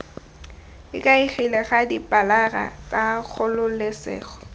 ikaegile ka dipilara tsa kgololesego